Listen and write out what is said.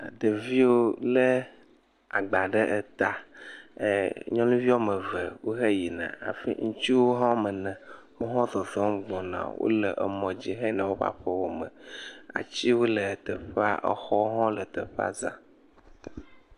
Ɖeviwo lé agba ɖe eta. ɛɛ Nyɔnuvi woƒe ame eve wo heyina hafi ŋutsuwo hã wo ame enewo hã wo fefe gbɔna wole mɔdzi heyina woƒe aƒewo me. Atiwo le teƒea exɔwo hã le teƒea zã.